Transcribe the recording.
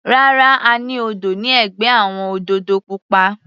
Rárá, a ní odò ní ẹ̀gbẹ́ àwọn òdòdó púpọ̀.